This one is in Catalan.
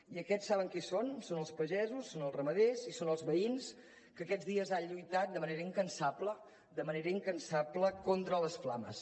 i aquests saben qui són són els pagesos són els ramaders i són els veïns que aquests dies han lluitat de manera incansable de manera incansable contra les flames